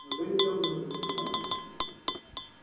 неужели тёмные уже все знают